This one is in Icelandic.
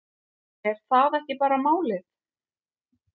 Er það ekki bara málið?